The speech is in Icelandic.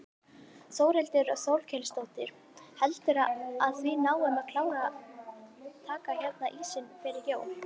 Þórhildur Þorkelsdóttir: Heldurðu að þið náið að klára að taka hérna ísinn fyrir jól?